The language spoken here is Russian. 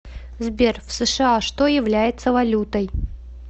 сбер в сша что является валютой